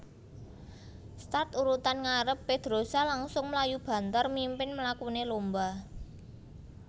Start urutan ngarep Pedrosa langsung mlayu banther mimpin mlakune lomba